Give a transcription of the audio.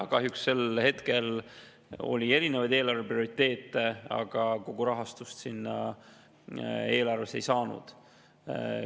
Kahjuks sel hetkel oli erinevaid eelarve prioriteete ja eelarvest kogu rahastust selleks ei saadud.